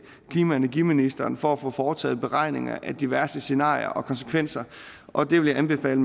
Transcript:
klima og energiministeren for at få foretaget beregninger af diverse scenarier og konsekvenser og det vil jeg anbefale